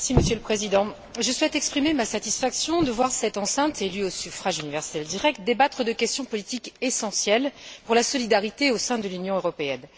Monsieur le Président, je souhaite exprimer ma satisfaction de voir cette enceinte, élue au suffrage universel direct, débattre de questions politiques essentielles pour la solidarité au sein de l'Union européenne.